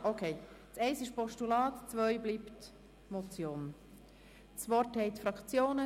Zuerst Grossrat Wyrsch für die SP-JUSO-PSA-Fraktion.